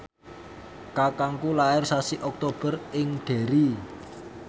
kakangku lair sasi Oktober ing Derry